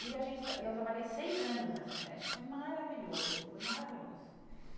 E a gente e eu trabalhei seis anos nessa creche e foi maravilhoso, foi maravilhoso.